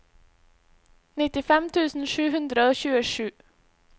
nittifem tusen sju hundre og tjuesju